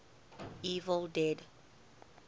evil dead